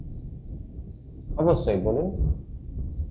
অবশ্যই বলুন